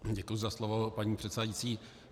Děkuji za slovo, paní předsedající.